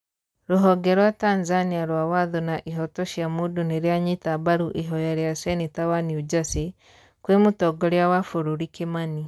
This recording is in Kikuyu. Rũhonge rwa Tanzania rwa watho na ihoto cia mũndũ nĩ rĩanyita mbaru ihoya rĩa cenĩta wa New Jersey, kwĩ mũtongoria wa bũrũri Kimani